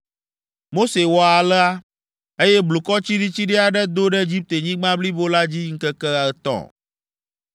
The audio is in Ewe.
Mose wɔ alea, eye blukɔ tsiɖitsiɖi aɖe do ɖe Egiptenyigba blibo la dzi ŋkeke etɔ̃.